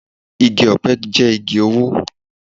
Igi ọ̀pẹ jẹ́ igi owó